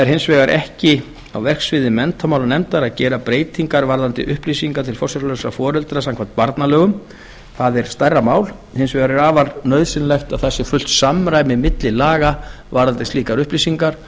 hins vegar er ekki á verksviði menntamálanefndar að gera breytingar varðandi upplýsingar til forsjárlausra foreldra samkvæmt barnalögum það er stærra mál hins vegar er afar nauðsynlegt að það sé fullt samræmi milli laga varðandi slíkar upplýsingar